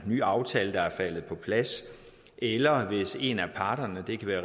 ny aftale er faldet på plads eller hvis en af parterne det kan være